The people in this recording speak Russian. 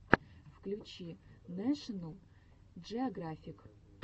включи нэшнл джиографик